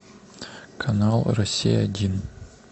канал россия один